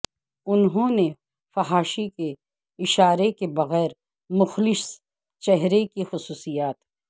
انہوں نے فحاشی کے اشارہ کے بغیر مخلص چہرے کی خصوصیات